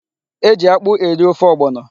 E ji akpụ eri ofe ọgbọnọ.